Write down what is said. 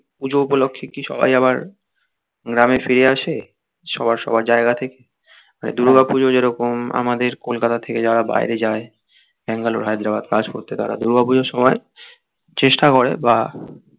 পুজো উপলক্ষে কি সবাই আবার গ্রামে ফিরে আসে সবাই সবার জায়গা থেকে দূর্গা পুজো যেরকম আমাদের কলকাতা থেকে যারা বাইরে যায় বেঙ্গালোর হায়দ্রাবাদ কাজ করতে তারা দুর্গ পুজোর সময় চেষ্টা করে বা